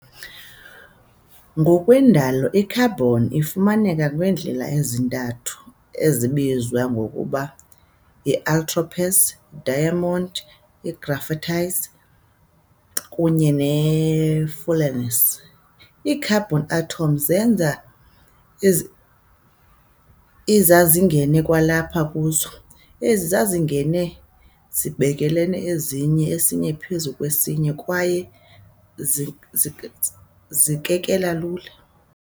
Ngokwendalo i-carbon ifumaneka ngeendlela ezintathu ezibizwa ngokuba yi-allotropes- diamond, i-graphite, kunye ne-fullerenes. Ii-carbon atoms zenza izazinge kwalapha kuzo, ezi zazingene zibelekene ezinye esinye phezu kwesinye kwaye zikekela lula.